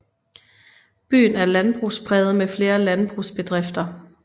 Byen er landbrugspræget med flere landbrugsbedrifter